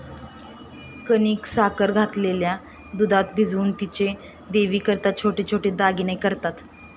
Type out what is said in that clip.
कणिक साखर घातलेल्या दुधात भिजवून तिचे देवीकरिता छोटे छोटे दागिने करतात.